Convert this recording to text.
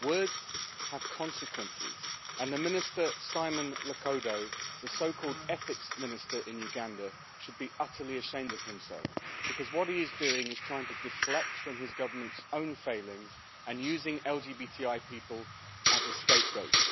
Words have consequences, and the Minister Simon Lokodo, the so called Ethics Minister in Uganda, should be utterly ashamed of himself, because what he is doing is trying to deflect from his government's own failings and using LGBTI people as a scapegoat.